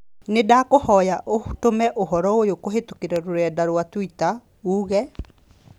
Nĩndakũhoya ũtũme ũhoro ũyũ kũhītũkīra rũrenda rũa tũita uuge